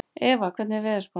Eva, hvernig er veðurspáin?